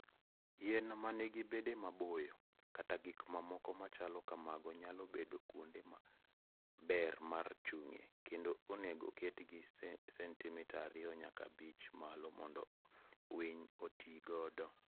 Yien ma nigi bede bao maboyo, kata gik mamoko machalo kamago nyalo bedo kuonde ma ber mar chung'ie, kendo onego oketgi sentimita ariyo nyaka abich malo mondo winy oti godo.